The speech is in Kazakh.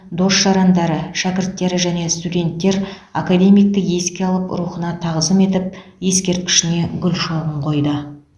дос жарандары шәкірттері және студенттер академикті еске алып рухына тағызым етіп ескерткішіне гүл шоғын қойды